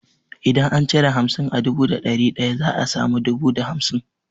Idan an cire hamsin a dubu da dari daya za a samu dubu da hamsin.